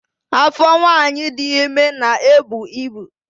Afọ nwanyị dị ime na-ebu ibu